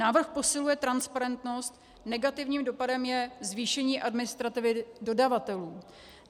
Návrh posiluje transparentnost, negativním dopadem je zvýšení administrativy dodavatelů.